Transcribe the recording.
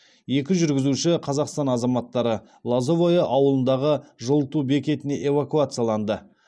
екі жүргізуші қазақстан азаматтары лозовое ауылындағы жылыту бекетіне эвакуацияланды